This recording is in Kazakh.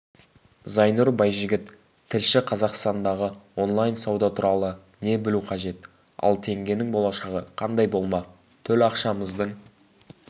зайнұр байжігіт тілші қазақстандағы онлайн-сауда туралы не білу қажет ал теңгенің болашағы қандай болмақ төл ақшамыздың